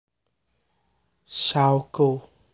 Shaw Co